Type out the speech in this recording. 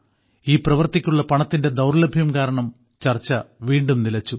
ഈ പ്രവർത്തിക്കുള്ള പണത്തിന്റെ ദൌർലഭ്യം കാരണം ചർച്ച വീണ്ടും നിലച്ചു